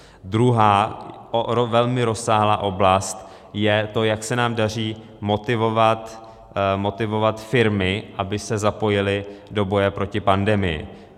Druhá, velmi rozsáhlá oblast je to, jak se nám daří motivovat firmy, aby se zapojily do boje proti pandemii.